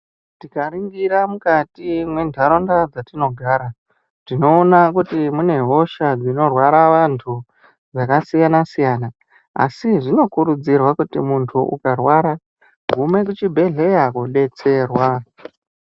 Tikaringira mukati mwentaraunda dzetinogara, tinoona kuti mune hosha dzinorwara vantu dzakasiyana-siyana. Asi zvinokurudzirwa kuti kana muntu ukarwara, gume kuchibhedhleya kobetserwa.